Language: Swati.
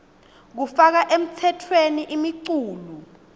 kufaka emtsetfweni imiculu